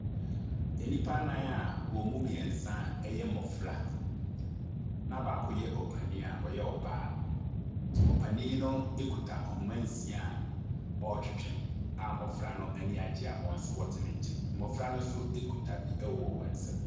Nnipa nan a emu mmiɛnsa ɛyɛ mmɔfra na baako yɛ ɔpanyin a ɔyɛ ɔbaa. Ɔpanyin no kuta ahoma nsia a ɔretwetwe a mmɔfra no aniagye a ɔte ne nkyɛn. Mmɔfra no nso ekuta bi ɛwɔ wɔnsɛm.